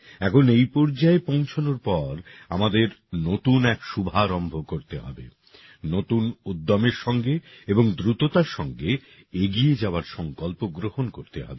এখন এই পর্যায়ে পৌঁছনোর পর আমাদের নতুন এক শুভারম্ভ করতে হবে নতুন উদ্যমের সঙ্গে এবং দ্রুততার সঙ্গে এগিয়ে যাওয়ার সঙ্কল্প গ্রহণ করতে হবে